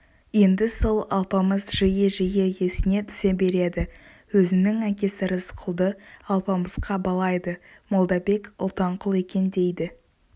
енді сол алпамыс жиі-жиі есіне түсе береді өзінің әкесі рысқұлды алпамысқа балайды молдабек ұлтанқұл екен дейді